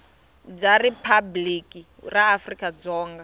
bya riphabliki ra afrika dzonga